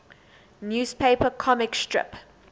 newspaper comic strip